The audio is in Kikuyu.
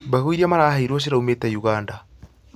Mbegũ iria maheirwo ciraumĩte Uganda